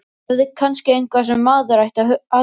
Þetta er kannski eitthvað sem maður ætti að athuga.